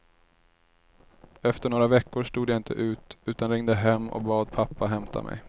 Efter några veckor stod jag inte ut, utan ringde hem och bad pappa hämta mig.